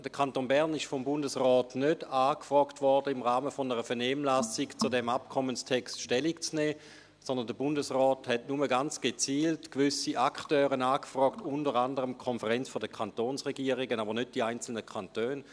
Der Kanton Bern wurde vom Bundesrat nicht im Rahmen einer Vernehmlassung angefragt, zu diesem Abkommenstext Stellung zu nehmen, sondern der Bundesrat fragte nur ganz gezielt gewisse Akteure an, unter anderem die KdK, jedoch nicht die einzelnen Kantone.